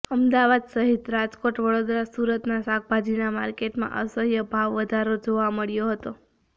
અમદાવાદ સહિત રાજકોટ વડોદરા સુરતના શાકભાજીના માર્કેટમાં અસહ્ય ભાવ વધારો જોવા મળ્યો હતો